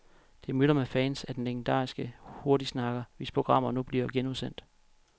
Det myldrer med fans af den legendariske hurtigsnakker, hvis programmer nu bliver genudsendt.